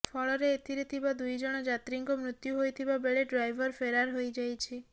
ଫଳରେ ଏଥିରେ ଥିବା ଦୁଇଜଣ ଯାତ୍ରୀଙ୍କ ମୃତ୍ୟୁ ହୋଇଥିବା ବେଳେ ଡ୍ରାଇଭର ଫେରାର ହୋଇଯାଇଛି